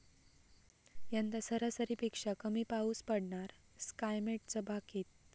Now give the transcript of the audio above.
यंदा सरासरीपेक्षा कमी पाऊस पडणार, स्कायमेटचं भाकित